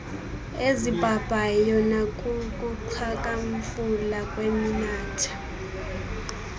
ezibhabhayo nakukuxhakamfula kweminatha